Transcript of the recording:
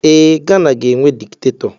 Ee, Gana ga-enwe dikitatọ.